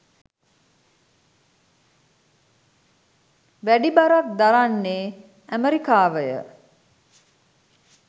වැඩි බරක් දරන්නේ ඇමෙරිකාවය.